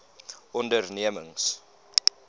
ondernemings